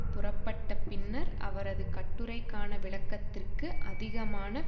புறப்பட்ட பின்னர் அவரது கட்டுரைக்கான விளக்கத்திற்கு அதிகமான